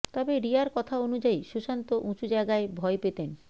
তবে রিয়ার কথা অনুযায়ী সুশান্ত উঁচু জায়গায় ভয় পেতেন